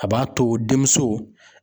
A b'a to denmuso.